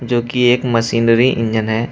जो की एक मशीनरी इंजन है।